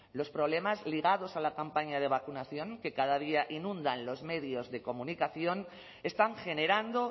los problemas ligados a la campaña de vacunación que cada día inundan los medios de comunicación están generando